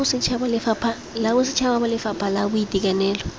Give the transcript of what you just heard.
la bosetšhaba lefapha la boitekanelo